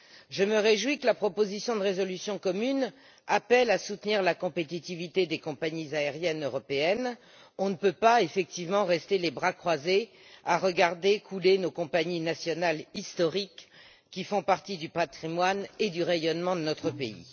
Je me réjouis que la proposition de résolution commune appelle à soutenir la compétitivité des compagnies aériennes européennes, on ne peut pas effectivement rester les bras croisés à regarder couler nos compagnies nationales historiques, qui font partie du patrimoine et du rayonnement de notre pays.